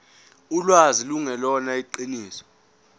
ulwazi lungelona iqiniso